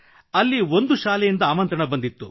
ಅಲ್ಲಿ ಒಂದು ಶಾಲೆಯಿಂದ ಆಮಂತ್ರಣ ಬಂದಿತ್ತು